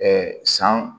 san